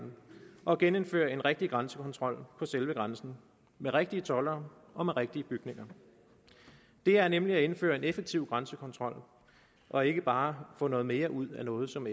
og genindføre en rigtig grænsekontrol på selve grænsen med rigtige toldere og med rigtige bygninger det er nemlig at indføre en effektiv grænsekontrol og ikke bare at få noget mere ud af noget som